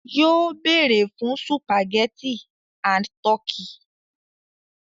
Yóó béèrè fún sùpàgẹ́tì and tọ́kì.